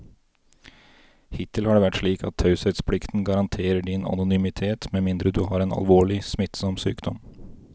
Hittil har det vært slik at taushetsplikten garanterer din anonymitet med mindre du har en alvorlig, smittsom sykdom.